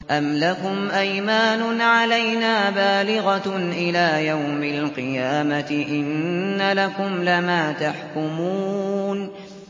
أَمْ لَكُمْ أَيْمَانٌ عَلَيْنَا بَالِغَةٌ إِلَىٰ يَوْمِ الْقِيَامَةِ ۙ إِنَّ لَكُمْ لَمَا تَحْكُمُونَ